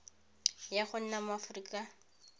ya go nna mo aforika